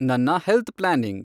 ನನ್ನ health planning